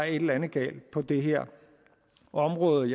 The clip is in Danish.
et eller andet galt på det her område